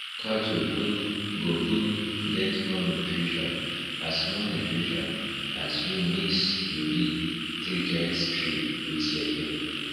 cattle um go um get more nutrition as more nutrition as we mix youri treated stri with legume